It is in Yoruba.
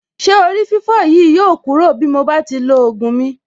Ṣé orí-fífọ́ yìí yóò kúrò bí mo bá ti lo ògùn mi.